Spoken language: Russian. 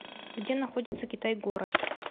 где находится китай город